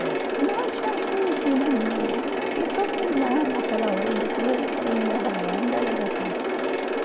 É. Não, tinha uma conhecida minha lá, eu fiquei só não, naquela hora, depois eles foram me levar lá na delegacia.